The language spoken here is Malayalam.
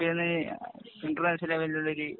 ലെവലിലുള്ള ഗെയിം